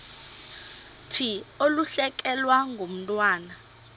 thi ulahlekelwe ngumntwana